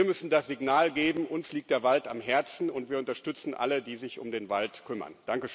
Wir müssen das Signal geben Uns liegt der Wald am Herzen, und wir unterstützen alle, die sich um den Wald kümmern.